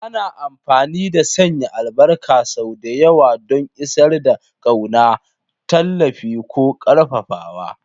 Ana amfani da sanya albarka sau da yawa don isar da ƙauna, tallafi, ko ƙarfafawa.